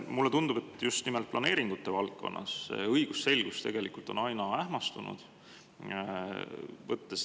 Mulle tundub, et just nimelt planeeringute valdkonnas on õigusselgus tegelikult aina enam ähmastunud.